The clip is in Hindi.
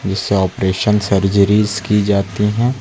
जिससे ऑपरेशन सर्जरी की जाती है।